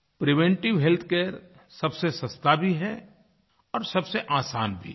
preventive healthcare सबसे सस्ता भी है और सबसे आसान भी है